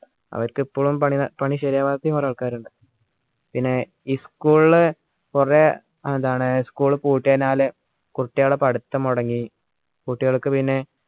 അവരിക്ക് ഇപ്പോളും പണി പണി ശരിയാവാത്തെയും കുറെ ആൾക്കാറിണ്ട് പിന്നെ ഈ school കുറേ എന്താണ് school പൂട്ടിയനാൽ കുട്യാളാ പഠിത്തം മുടങ്ങി കുട്യാൾക് പിന്നെ